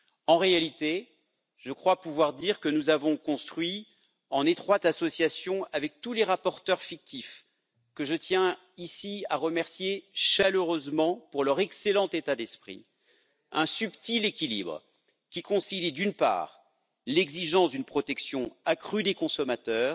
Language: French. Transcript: En réalité, je crois pouvoir dire que nous avons construit, en étroite association avec tous les rapporteurs fictifs, que je tiens ici à remercier chaleureusement pour leur excellent état d'esprit, un subtil équilibre qui concilie, d'une part, l'exigence d'une protection accrue des consommateurs,